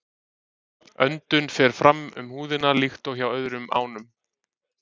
Öndun fer fram um húðina líkt og hjá öðrum ánum.